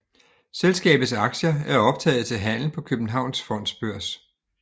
Selskabets aktier er optaget til handel på Københavns Fondsbørs